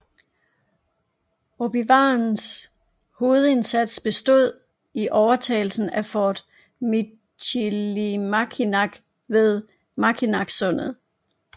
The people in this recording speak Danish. Ojibwaernes hovedindsats bestod i overtagelsen af Fort Michilimackinac ved Mackinacsundet